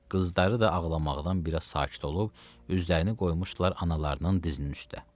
Qızları da ağlamaqdan bir az sakit olub, üzlərini qoymuşdular analarının dizinin üstə.